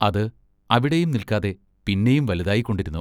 അത് അവിടെയും നിൽക്കാതെ പിന്നെയും വലുതായിക്കൊണ്ടിരുന്നു.